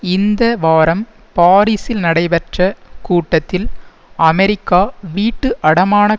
இந்த வாரம் பாரிசில் நடைபெற்ற கூட்டத்தில் அமெரிக்கா வீட்டு அடமானக்